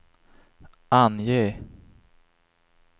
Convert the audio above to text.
ange